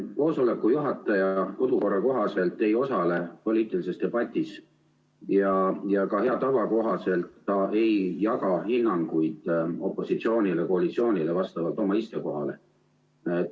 Kodukorra kohaselt ei osale koosoleku juhataja poliitilises debatis ja ka hea tava kohaselt ei jaga ta hinnanguid opositsioonile-koalitsioonile vastavalt oma istekohale.